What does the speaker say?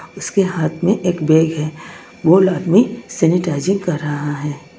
उसके हाथ में एक बैग है वो आदमी सैनिटाइजिंग कर रहा है।